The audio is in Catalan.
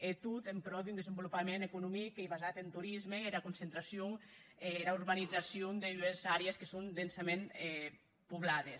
e tot en prò d’un desvolopament economic qu’ei basat en torisme e era concentracion e era urbanizacion d’ues aires que son densament poblades